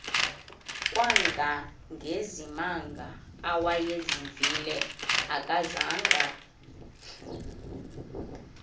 kangangezimanga awayezivile akazanga